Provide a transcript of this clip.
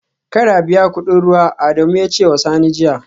Kar a biya kudin ruwa, Adamu ya ce wa Sani jiya